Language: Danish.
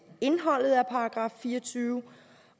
indholdet af § fire og tyve